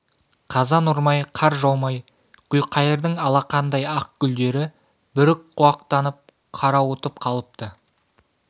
қазан ұрмай қар жаумай гүлқайырдың алақандай ақ гүлдері бүрік құлақтанып қарауытып қалыпты